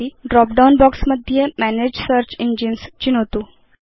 drop down box मध्ये मनगे search engines चिनोतु